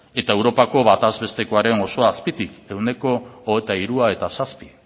eta europako batez bestekoaren oso azpitik ehuneko hogeita hiru koma zazpi